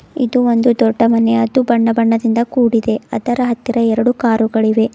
ಇದು ಒಂದು ದೊಡ್ಡ ಮನೆ ಅದು ಬಣ್ಣ ಬಣ್ಣದಿಂದ ಕೂಡಿದೆ ಅದರ ಹತ್ತಿರ ಎರಡು ಕಾರು ಗಳಿವೆ.